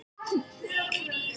Þau hafa